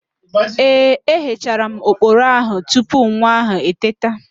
Ee, eghechara m oporo ahụ tupu nwa ahụ eteta